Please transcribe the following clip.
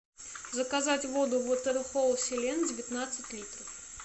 заказать воду ватерхолл селен девятнадцать литров